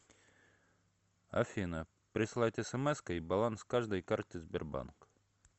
афина прислать смской баланс каждой карты сбербанк